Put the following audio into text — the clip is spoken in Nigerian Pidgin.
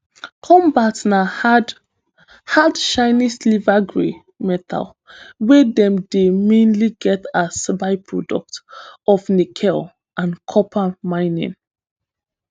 cobalt na hard hard shiny silvergrey metal wey dem dey mainly get as byproduct of nickel and copper mining